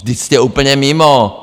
Vždyť jste úplně mimo!